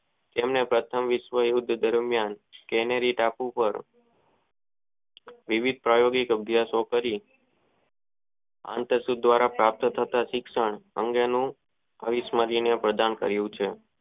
તેમને આત્મા વિશ્વયુદ્ધ દરમિયાન કેનેરી ટાપુ વર્ગ એવી શોધકારી આંતર સૂત્ર ધ્વરા જે પ્રાપ્ત થતા શિક્ષણ ભવિષ્ય માં પ્રદાન કરિયું છે.